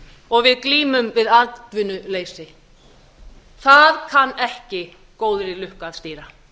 og við glímum við atvinnuleysi það kann ekki góðri lukku að stýra